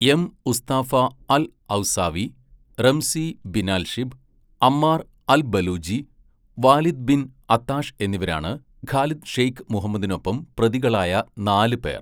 M ഉസ്താഫ al Hawsawi, Ramzi Binalshibh, Ammar al Baluchi, Walid bin Attash എന്നിവരാണ് ഖാലിദ് ഷെയ്ഖ് മുഹമ്മദിനൊപ്പം പ്രതികളായ നാല് പേർ.